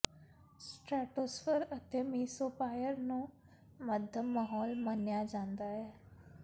ਸਟਰੈਟੋਸਰਫ ਅਤੇ ਮੀਸੋਪਾਈਅਰ ਨੂੰ ਮੱਧਮ ਮਾਹੌਲ ਮੰਨਿਆ ਜਾਂਦਾ ਹੈ